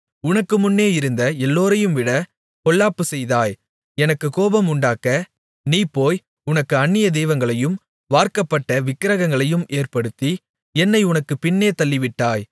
உனக்கு முன்னே இருந்த எல்லோரையும்விட பொல்லாப்புச் செய்தாய் எனக்குக் கோபம் உண்டாக்க நீ போய் உனக்கு அந்நிய தெய்வங்களையும் வார்க்கப்பட்ட விக்கிரகங்களையும் ஏற்படுத்தி என்னை உனக்குப் பின்னே தள்ளிவிட்டாய்